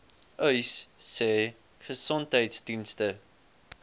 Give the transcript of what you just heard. uys sê gesondheidsdienste